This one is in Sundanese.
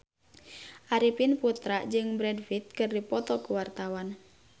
Arifin Putra jeung Brad Pitt keur dipoto ku wartawan